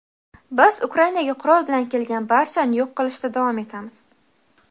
Biz Ukrainaga qurol bilan kelgan barchani yo‘q qilishda davom etamiz.